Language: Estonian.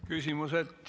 Küsimused.